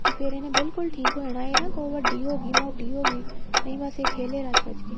ਫ਼ੇਰ ਇਹਨੇ ਬਿਲਕੁਲ ਠੀਕ ਹੋ ਜਾਣਾ ਇਹ ਨਾ ਅੱਗੋ ਵੱਡੀ ਹੋਗੀ ਮੋਟੀ ਹੋਗੀ ਨਹੀਂ ਬੱਸ ਇਹ ਖੇਲੇ ਰੱਜ ਰੱਜ ਕੇ